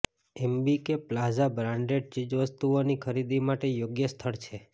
MBK plaza branded ચીજવસ્તુઓની ખરીદી માટે યોગ્ય સ્થળ છે